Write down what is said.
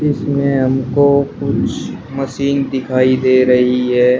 इसमे हमको कुछ मशीन दिखाई दे रही है।